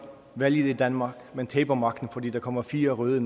valget i danmark men taber magten fordi der kommer fire røde